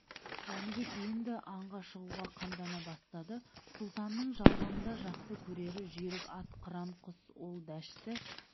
жәнібек енді аңға шығуға қамдана бастады сұлтанның жалғанда жақсы көрері жүйрік ат қыран құс ол дәшті